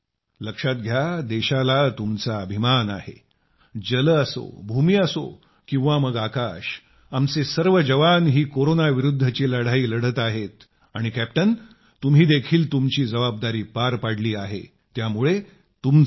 लक्षात घ्या देशाला तुमचा अभिमान आहे जल असो भूमी असो किंवा मग आकाश आमचे सर्व जवान ही कोरोना विरुद्धची लढाई लढत आहेत आणि कॅप्टन तुम्ही देखील तुमची जबाबदारी पार पाडली आहे त्यामुळे तुमचे देखील अभिनंदन